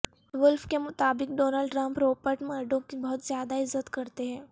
wolf کے مطابق Donald Trump Rupert Murdoch کی بہت زیادہ عزت کرتے ہیں